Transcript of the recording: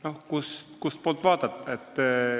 Oleneb, kustpoolt vaadata.